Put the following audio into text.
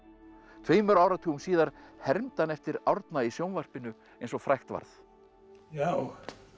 tveimur áratugum síðar hermdi hann eftir Árna í sjónvarpinu eins og frægt varð já